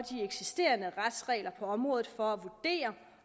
eksisterende retsregler på området for at vurdere